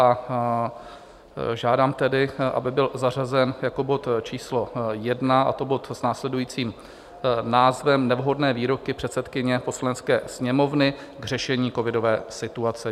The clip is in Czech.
A žádám tedy, aby byl zařazen jako bod číslo 1, a to bod s následujícím názvem Nevhodné výroky předsedkyně Poslanecké sněmovny k řešení covidové situace.